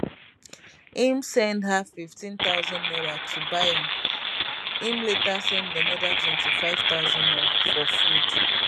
im send her fifteen thousand naira to buy am im later send anoda twenty-five thousand naira for food